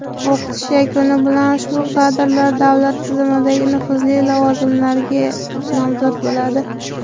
O‘qitish yakuni bilan ushbu kadrlar davlat tizimidagi nufuzli lavozimlarga nomzod bo‘ladi.